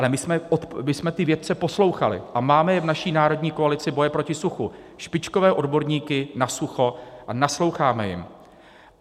Ale my jsme ty vědce poslouchali a máme je v naší Národní koalici boje proti suchu, špičkové odborníky na sucho, a nasloucháme jim.